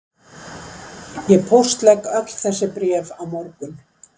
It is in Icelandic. Ég póstlegg öll þessi bréf á morgun